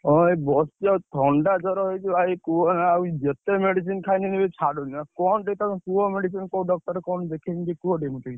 ହଁ, ଏଇ ବସିଛି, ଥଣ୍ଡା ଜର ହେଇଛି ଭାଇ କୁହନା ଯେତେ medicine ଖାଇଲେ ଛାଡ଼ୁନି। ଆଉ କଣ କୁହ medicine କୋଉ doctor କଣ ଦେଖେଇବି ଟିକେ କୁହ ଟିକେ ମୋତେ।